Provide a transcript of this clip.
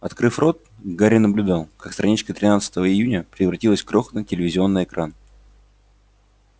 открыв рот гарри наблюдал как страничка тринадцатого июня превратилась в крохотный телевизионный экран